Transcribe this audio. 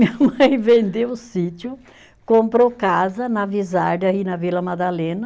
Minha mãe vendeu o sítio, comprou casa na Visarda e na Vila Madalena.